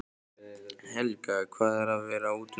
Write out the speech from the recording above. Helga: Hvað er að vera útundan?